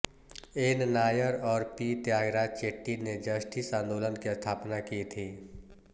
N Nair और P Thyagaraja Chetty ने Justice आंदोलन की स्थापना की थी